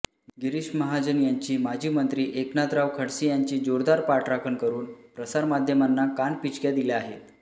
गिरीश महाजन यांची माजी मंत्री एकनाथराव खडसे यांची जोरदार पाठराखण करून प्रसारमाध्यमांना कानपिचक्या दिल्या आहेत